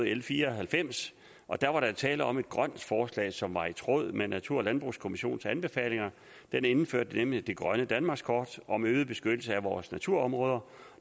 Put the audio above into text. l fire og halvfems og der var tale om et grønt forslag som var i tråd med natur og landbrugskommissionens anbefalinger den indførte nemlig det grønne danmarkskort om øget beskyttelse af vores naturområder